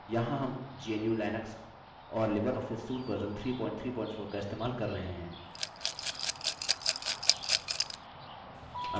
यहाँ हम gnu/लिनक्स और libreoffice suite वर्ज़न 334 का इस्तेमाल कर रहे हैं